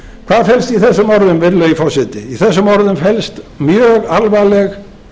hvað helst í þessum orðum virðulegi forseti í þessum orðum felst mjög alvarleg